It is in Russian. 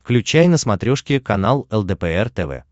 включай на смотрешке канал лдпр тв